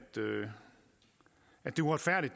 uretfærdigt